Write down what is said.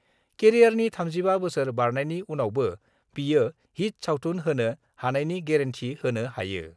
केरियारनि 35 बोसोर बारनायनि उनावबो बियो हिट सावथुन होनो हानायनि गेरेन्थि होनो हायो।